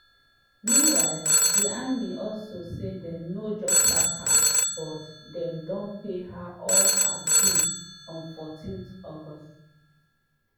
meanwhile di army also say dem no just sack her but dem don pay her all her dues on 14 august.